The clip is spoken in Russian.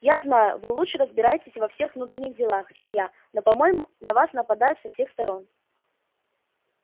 я знаю что вы лучше разбираетесь во всех внутренних делах чем я но по-моему на вас нападают со всех сторон